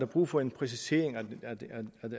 brug for en præcisering